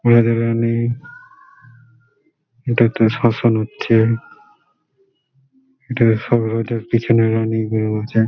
রাজা রানী- ই এটা একটা শশ্মান হচ্ছে ।